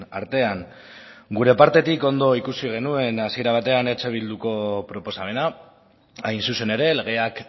artean gure partetik ondo ikusi genuen hasiera batean eh bilduko proposamena hain zuzen ere legeak